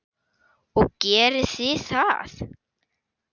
Og gerið þið það?